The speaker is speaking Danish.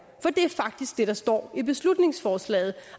det er faktisk det der står i beslutningsforslaget